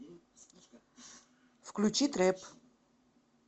включи трэп